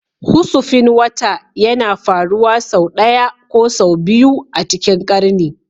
Husufin wata yana faruwa sau ɗaya ko sau biyu a cikin ƙarni